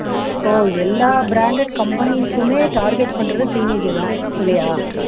so எல்லா branded companies உமே target பண்றது teenage அ தான் இல்லையா